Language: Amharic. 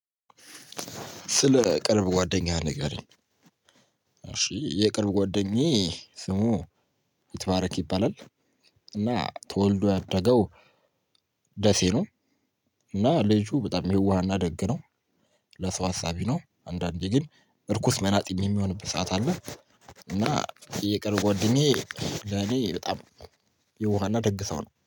ስለ ቅርብ ጓደኛ ንገሪኝ። እሺ የቅርብ ጓደኛዬ ስሙ ይትባረክ ይባላል እና ተወልዶ ያደገው ደሴ ነው። እና ልጁ በጣም የዋህና ደግ ነው። ለሰው አሳቢ ነው። አንዳንዴ ግን እርኩስ መናጢም የሚሆንበት ሰዓት አለ። እና የቅርብ ጓደኛዬ ለኔ በጣም የዋህና ደግ ሰው ነው።